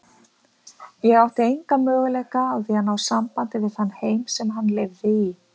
Ég átti enga möguleika á að ná sambandi við þann heim sem hann lifði í.